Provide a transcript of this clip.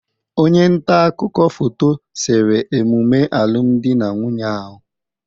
Onye nta akụkọ foto sere emume alụmdi na nwunye ahụ.